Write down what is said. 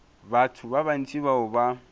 batho ba bantši bao ba